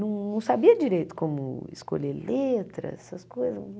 Não sabia direito como escolher letras, essas coisas.